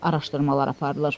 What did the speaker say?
Araşdırmalar aparılır.